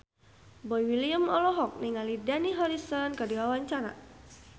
Boy William olohok ningali Dani Harrison keur diwawancara